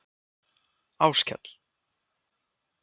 Áskell